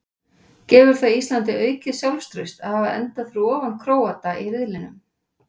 Gefur það Íslandi aukið sjálfstraust að hafa endaði fyrir ofan Króata í riðlinum?